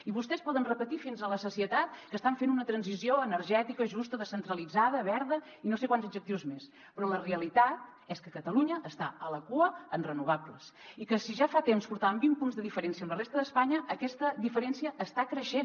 i vostès poden repetir fins a la sacietat que estan fent una transició energètica justa descentralitzada verda i no sé quants adjectius més però la realitat és que catalunya està a la cua en renovables i que si ja fa temps portàvem vint punts de diferència amb la resta d’espanya aquesta diferència està creixent